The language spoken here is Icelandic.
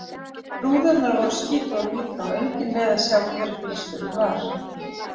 Rúðurnar voru skítugar líka og enginn leið að sjá hver bílstjórinn var.